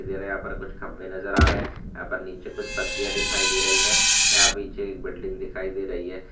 इधर यहा पर कुछ खंभे नजर आ रहे है यहा नीचे कुछ पट्टिय दिखाई दे रही है यहा भी एक बिल्डिंग दिखाई दे रही है।